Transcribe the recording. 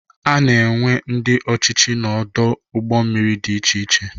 Ana enwe ndị ọchịchị n'ọdụ ụgbọ mmiri dị iche iche.